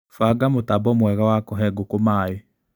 Banga mũtambo mwega wa kũhe ngũkũ maĩ.